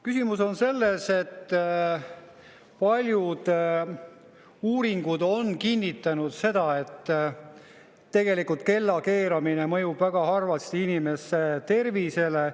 Küsimus on selles, et paljud uuringud on kinnitanud, et kellakeeramine mõjub väga halvasti inimese tervisele.